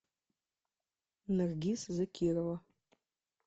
наргиз закирова